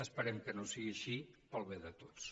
esperem que no sigui així pel bé de tots